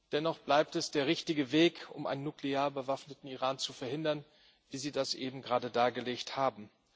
Dennoch bleibt es der richtige Weg, um einen nuklear bewaffneten Iran zu verhindern, wie Sie das eben gerade dargelegt haben.